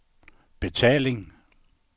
betaling